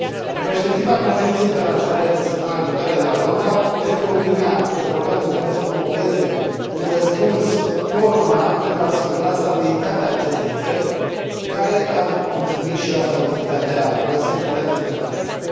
În perspectiva conferinței internaționale de săptămâna viitoare de la Londra, cred că Uniunea Europeană trebuie să promoveze un răspuns coordonat pentru a asigura stabilitatea acestei țări, care ar contribui și la securitatea internațională.